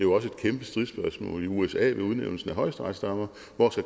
også et kæmpe stridsspørgsmål i usa ved udnævnelsen af højesteretsdommere hvor